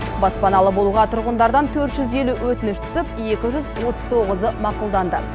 баспаналы болуға тұрғындардан төрт жүз елу өтініш түсіп екі жүз отыз тоғызы мақұлданды